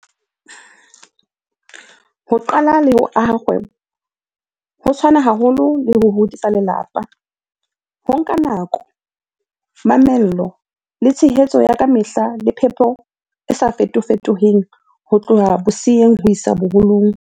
Ho qala le ho aha kgwebo ho tshwana haholo le ho hodisa lelapa. Ho nka nako, mamello, le tshehetso ya kamehla le phepo e sa fetofetong ho tloha boseyeng ho isa boholong.